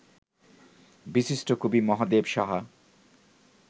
বিশিষ্ট কবি মহাদেব সাহা